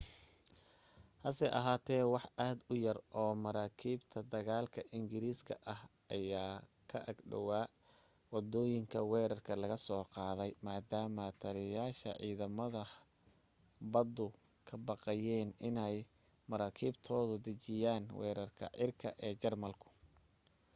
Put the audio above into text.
hase ahaate wax aad u yar oo maraakiibta dagaalka ingiriiska ah ayaa ka ag dhawaa waddooyinka weerarka laga soo qaadayo maadaama taliyayaasha ciidamada baddu ka baqayeen inay maraakiibtooda dejiyaan weerarada cirka ee jarmalku